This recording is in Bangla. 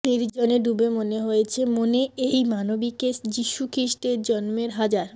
নির্জনে ডুবে মনে হয়েছে মনে এই মানবীকে যিশু খ্রিষ্টের জন্মের হাজার